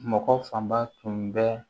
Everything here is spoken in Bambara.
Mɔgɔ fanba tun bɛ